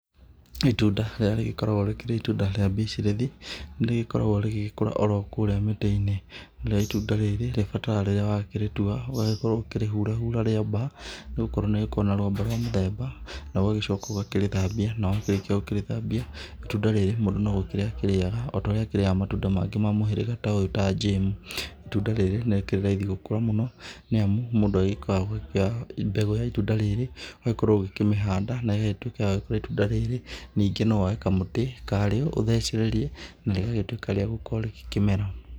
Itunda rĩrĩa rĩgĩkoragwo rĩkĩrĩ itunda rĩa bitirĩthi nĩ rĩgĩkoragwo rĩgĩkũra orokũrĩa mĩtĩ-inĩ, narĩo itunda rĩrĩ rĩbataraga rĩrĩa wakĩrĩtua ũgagĩkorwo ũkĩrĩhũra hura rwamba nĩ gũkorwo nĩrĩkoragwo na rwamba rwa mĩthemba na ũgagĩcoka ũkaraĩthambia. Na wakĩrĩkia gũkĩrĩthambia itunda rĩrĩ mũndũ no gũkĩrĩa akĩrĩaga torĩa akĩrĩaga matunda mangĩ ma mũhĩrĩga ta ũyũ ta njĩmu. Itunda rĩrĩ nĩ rĩkĩrĩ raithi gũkũra mũno nĩ amu mũndũ agĩkoragwo ũgĩkĩoya mbegũ ya itunda rĩrĩ ũgagĩkorwo ũkĩmĩhanda nayo ĩtuĩke ya gũkũra itunda rĩrĩ. Nĩngĩ no woe kamũtĩ karĩo ũthecereria narĩgakorwo rĩgĩtuĩka rĩagũkĩmera.